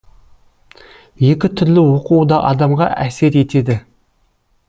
екі түрлі оқу да адамға әсер етеді